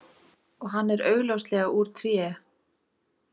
Og hann er augljóslega úr tré.